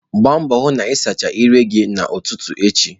Gbaa mbọ hụ na ị sachaa ire gị n'ụtụtụ echi.